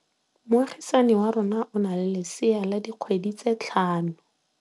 Moagisane wa rona o na le lesea la dikgwedi tse tlhano.